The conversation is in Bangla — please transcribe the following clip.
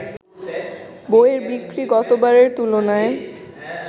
বইয়ের বিক্রি গতবারের তুলনায়